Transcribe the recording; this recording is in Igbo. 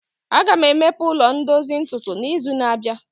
Aga m emepe ụlọ ndozu ntutu n'izu na-abịa